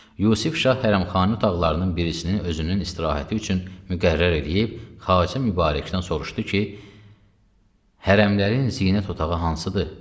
Yusif Şah hərəmxane otaqlarının birisinin özünün istirahəti üçün müqərrər eləyib Xacə Mübarəkdən soruşdu ki, Hərəmlərin zinət otağı hansıdır?